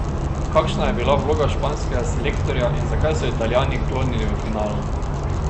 Kakšna je bila vloga španskega selektorja in zakaj so Italijani klonili v finalu?